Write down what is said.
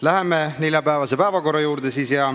Läheme neljapäevase päevakorra juurde.